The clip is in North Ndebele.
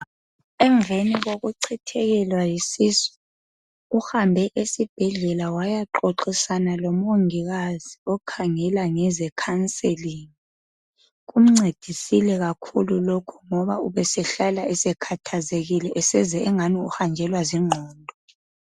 emveni kokuchithekelwa yisisu uhambe esbhedlela wayaxoxisana lo mongikazi okhangela ngeze counselling kumcedisile kakhulu lokhu ngoba ubesehlala esekhathazekile seze engani usehanjelwa zinqondo